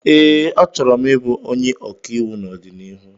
Ee, achọrọ m ịbụ onye ọkàiwụ n'ọdịnihu